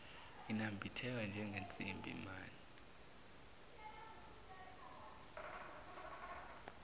inambitheka njengensimbi mane